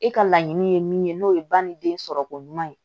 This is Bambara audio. E ka laɲini ye min ye n'o ye ba ni den sɔrɔ ko ɲuman ye